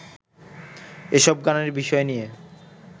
এসব গানের বিষয় নিয়ে